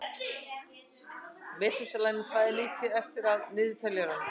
Metúsalem, hvað er mikið eftir af niðurteljaranum?